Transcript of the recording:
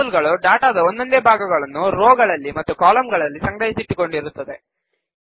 table ಗಳು ಡಾಟಾದ ಒಂದೊಂದೇ ಭಾಗಗಳನ್ನು ರೋ ಗಳಲ್ಲಿ ಮತ್ತು ಕಾಲಂಗಳಲ್ಲಿ ಸಂಗ್ರಹಿಸಿಟ್ಟುಕೊಂಡಿರುತ್ತದೆ